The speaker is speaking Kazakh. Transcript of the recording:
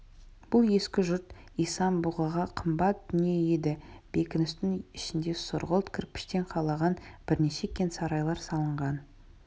бұл ескі жұрт исан-бұғыға қымбат дүние еді бекіністің ішінде сұрғылт кірпіштен қалаған бірнеше кең сарайлар салынған